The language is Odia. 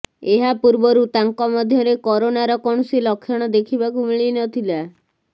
ଏହା ପୂର୍ବରୁ ତାଙ୍କ ମଧ୍ୟରେ କରୋନାର କୌଣସି ଲକ୍ଷଣ ଦେଖିବାକୁ ମିଳି ନ ଥିଲା